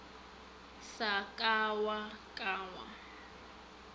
sa ka wa ba wa